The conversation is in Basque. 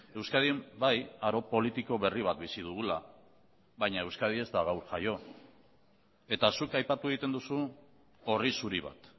euskadin bai aro politiko berri bat bizi dugula baina euskadi ez da gaur jaio eta zuk aipatu egiten duzu orri zuri bat